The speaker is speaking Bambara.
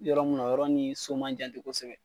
Yɔrɔ mun na o yɔrɔ ni so man jan ten kosɛbɛ